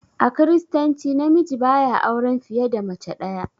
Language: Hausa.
A kiristanci na miji ba ya auran fiye da mace ɗaya.